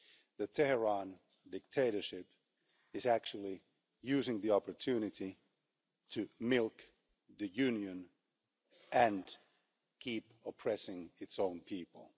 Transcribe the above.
The Tehran dictatorship is actually using the opportunity to milk the Union and keep oppressing its own people.